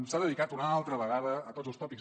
s’ha dedicat una altra vegada a tots els tòpics